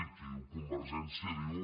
i qui diu convergència diu